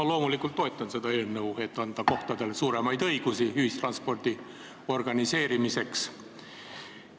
Ma loomulikult toetan seda eelnõu, et anda kohtadele suuremaid õigusi ühistranspordi organiseerimiseks.